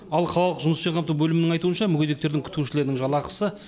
ал қалалық жұмыспен қамту бөлімінің айтуынша мүгедектердің күтушілерінің жалақысы